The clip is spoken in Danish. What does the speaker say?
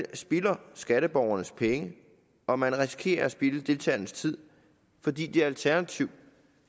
skatteborgernes penge og man risikerer at spilde deltagernes tid fordi de alternativt